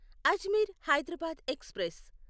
Ajmer Hyderabad express